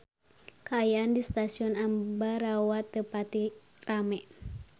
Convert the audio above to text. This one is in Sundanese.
Kaayaan di Stasiun Ambarawa teu pati rame